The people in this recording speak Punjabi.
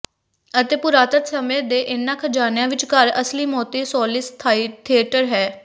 ਅਤੇ ਪੁਰਾਤਨ ਸਮੇਂ ਦੇ ਇਨ੍ਹਾਂ ਖਜਾਨਿਆਂ ਵਿਚਕਾਰ ਅਸਲੀ ਮੋਤੀ ਸੋਲਿਸ ਥੀਏਟਰ ਹੈ